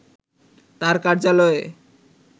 তার কার্যালয়ে